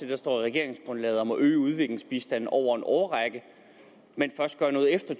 der står i regeringsgrundlaget og må øge udviklingsbistanden over en årrække men først gør noget efter